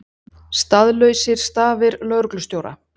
Staðlausir stafir lögreglustjóra